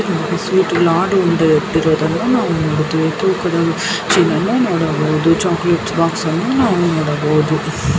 Sweet ಲಾಡು ಉಂಡೆ ಇಟ್ಟಿರುವುದನ್ನು ನಾವು ನೋಡಬಹುದು ತೂಕದ ಮಷೀನ್ ನನ್ನು ನೋಡಬಹುದು ಚೊಕ್ಲೆಟ್ಸ್ ಬಾಕ್ಸಾನ್ನು ನಾವು ನೋಡಬಹುದು.